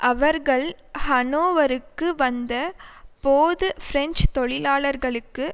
அவர்கள் ஹனோவருக்கு வந்த போது பிரெஞ்சு தொழிலாளர்களுக்கு